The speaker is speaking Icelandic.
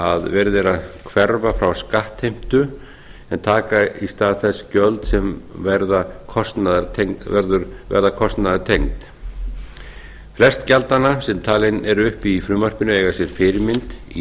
að verið er að hverfa frá skattheimtu en taka í stað þess gjöld sem verða kostnaðartengd flest gjaldanna sem talin eru upp í frumvarpinu eiga sér fyrirmynd í